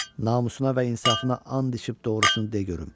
Namusuna və insafına and içib doğrusunu de görüm.